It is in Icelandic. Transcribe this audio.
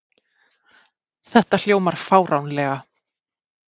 Þetta hljómar fáránlega.